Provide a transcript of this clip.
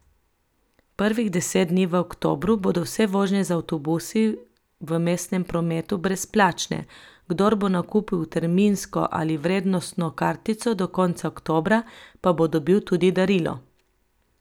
Prvih deset dni v oktobru bodo vse vožnje z avtobusi v mestnem prometu brezplačne, kdor bo nakupil terminsko ali vrednostno kartico do konca oktobra, pa bo dobil tudi darilo.